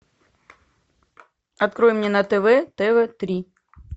открой мне на тв тв три